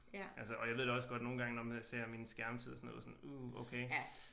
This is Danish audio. Altså og jeg ved da også godt nogle gange når ser min skærmtid uh okay